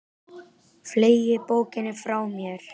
Fleygi bókinni frá mér.